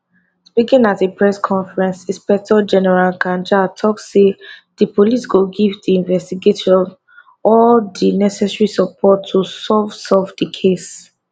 speaking at a press conference inspector general kanja tok say di police go give di investigators all necessary support to solve solve di case